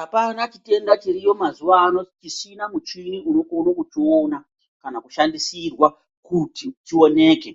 Apana chitenda chiriyo mazuwa ano chisina muchini unokona kuchiona kana kushandisirwa kuti chioneke.